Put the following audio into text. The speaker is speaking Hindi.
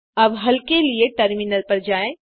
अब हल के लिए टर्मिनल पर जाएँ